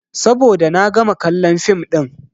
Saboda na gama kallon fim ɗin.